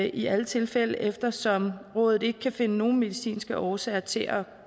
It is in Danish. i alle tilfælde eftersom rådet ikke kan finde nogen medicinske årsager til at